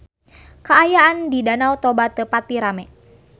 Kaayaan di Danau Toba teu pati rame